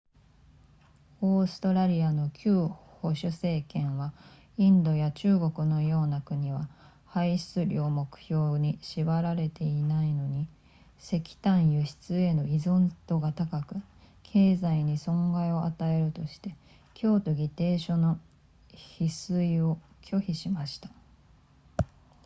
オーストラリアの旧保守政権はインドや中国のような国は排出量目標に縛られていないのに石炭輸出への依存度が高く経済に損害を与えるとして京都議定書の批准を拒否しました